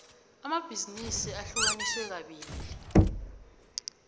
amabhizinisi ahlukaniswe kabili